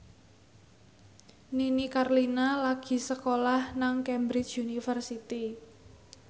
Nini Carlina lagi sekolah nang Cambridge University